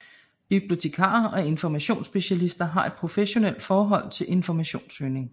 Bibliotekarer og informationsspecialister har et professionalt forhold til informationssøgning